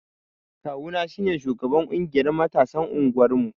Ƙawu na shine sugaban ƙungiyar matasan unguwar mu.